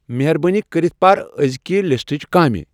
مہربٲنی کٔرِتھ پر أزکِہ لسٹٕچ کامِہ ۔